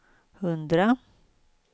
hundra